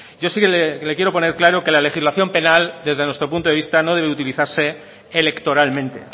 yo sí que le quiero poner claro que la legislación penal desde nuestro punto de vista no debe utilizarse electoralmente